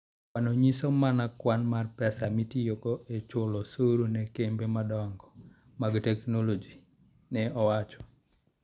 Kwanno nyiso mana kwan mar pesa mitiyogo e chulo osuru ne kembe madongo mag teknoloji", ne owacho.